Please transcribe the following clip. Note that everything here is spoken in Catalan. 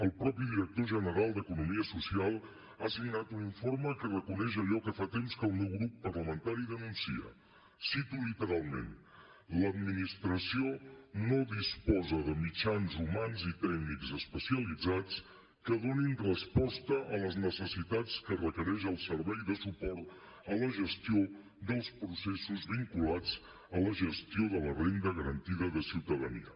el mateix director general d’economia social ha signat un informe que reconeix allò que fa temps que el meu grup parlamentari denuncia ho cito literalment l’administració no disposa de mitjans humans i tècnics especialitzats que donin resposta a les necessitats que requereix el servei de suport a la gestió dels processos vinculats a la gestió de la renda garantida de ciutadania